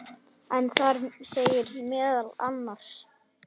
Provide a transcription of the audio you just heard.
en þar segir meðal annars